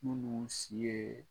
Munnu si yee